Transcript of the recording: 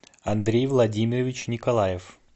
андрей владимирович николаев